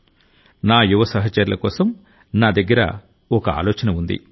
నా యువ సహచరుల కోసం నా దగ్గర ఒక ఆలోచన ఉంది